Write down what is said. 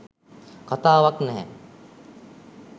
කතාවක් නැහැ